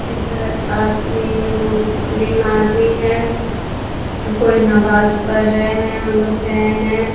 इधर आदमी मुस्लिम आदमी है । कोई नवाज़ पढ़ रहे हैं एगो फैन है ।